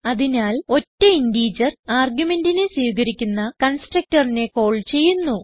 അതിനാൽ ഒറ്റ ഇന്റിജർ argumentനെ സ്വീകരിക്കുന്ന constructorനെ കാൾ ചെയ്യുന്നു